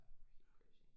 Ja det var helt crazy